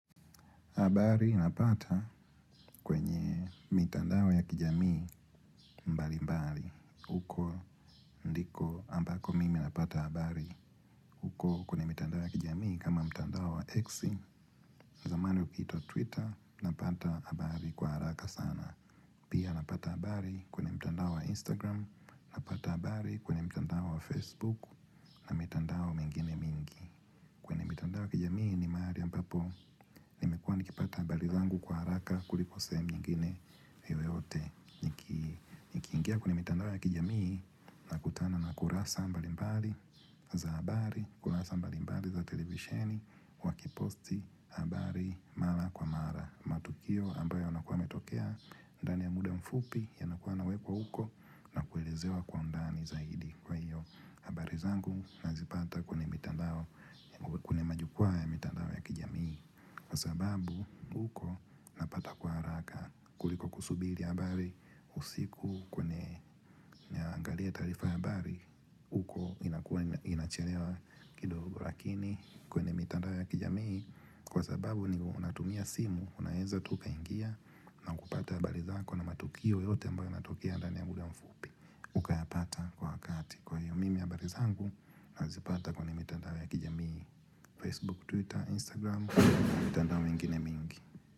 Habari napata kwenye mitandao ya kijamii mbali mbali. Uko ndiko ambako mimi napata abari. Uko kwenye mitandao ya kijamii kama mtandao wa exi. Zamani ukiitwa Twitter, napata habari kwa haraka sana. Pia napata abari kwenye mtandao wa Instagram, napata abari kwenye mtandao wa Facebook na mitandao mingine mingi. Kwenye mitandao ya kijamii ni mahari ambapo nimekuwa nikipata habari zangu kwa haraka kuliko sehem nyingine yoyote. Nikiingia kwenye mitandao ya kijamii na kutana na kurasa mbali mbali za habari, kurasa mbali mbali za televisheni, wakiposti habari mala kwa mara. Matukio ambayo yanakuwa yametokea ndani ya muda mfupi yanakuwa nawekwa uko na kuelezewa kwa undani zaidi. Kwa hiyo habari zangu nazipata kwenye mitandao kwenye majukwa ya mitandao ya kijamii. Kwa sababu huko napata kwa kuliko kusubili habari. Usiku kwenye naangalia taarifa habari huko inakuwa inacherewa kidogo lakini kwenye mitandao ya kijamii kwa sababu ni unatumia simu unaeza tu ukaingia na kupata habari zako na matukio yote ambayo yanatokea ndani ya muda mfupi ukayapata kwa wakati. Kwa hio mimi habari zangu nazipata kwa ni mitandao ya kijamii, Facebook, Twitter, Instagram, mitandao mingine mingi.